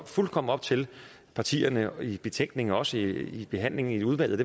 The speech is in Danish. fuldkommen op til partierne i betænkningen og også i behandlingen i udvalget